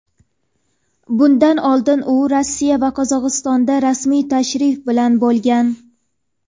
Bundan oldin u Rossiya va Qozog‘istonda rasmiy tashrif bilan bo‘lgan.